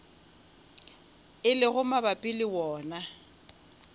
e lego mabapi le wona